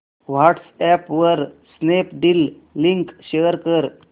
WhatsApp वर Snapdeal link share कर